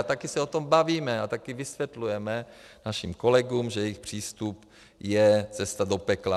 A také se o tom bavíme a také vysvětlujeme našim kolegům, že jejich přístup je cesta do pekla.